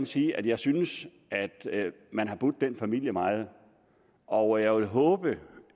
sige at jeg synes man har budt den familie meget og jeg vil håbe